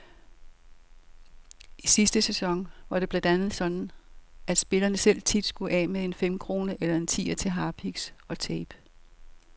I sidste sæson var det blandt andet sådan, at spillerne selv tit skulle af med en femkrone eller en tier til harpiks og tape.